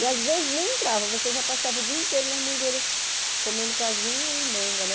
E às vezes nem entrava, você já passava o dia inteiro nas mangueiras comendo caju e manga, né?